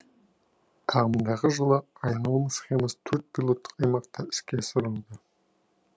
ағымдағы жылы айналым схемасы төрт пилоттық аймақта іске асырылуда